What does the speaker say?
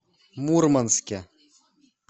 мурманске